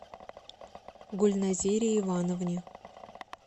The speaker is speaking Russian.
гульназире ивановне